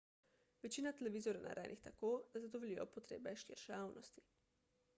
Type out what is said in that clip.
večina televizorjev je narejenih tako da zadovoljijo potrebe širše javnosti